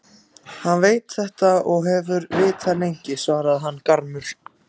Hann veit þetta og hefur vitað lengi, svaraði hann gramur.